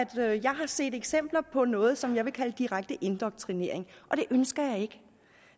jeg har set eksempler på noget som jeg vil kalde direkte indoktrinering og det ønsker